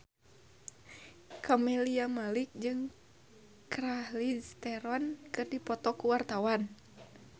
Camelia Malik jeung Charlize Theron keur dipoto ku wartawan